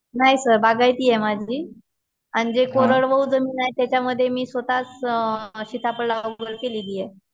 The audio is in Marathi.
नाही सर बागायती आहे माझी, अन जे कोरडवाहू जमीन आहे त्याच्यामध्ये मी स्वतःच सीताफळ लागवड केलेली आहे.